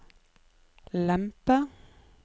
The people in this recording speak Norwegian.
lempe